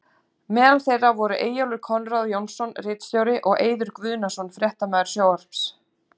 Meðal þeirra voru Eyjólfur Konráð Jónsson ritstjóri og og Eiður Guðnason fréttamaður sjónvarps.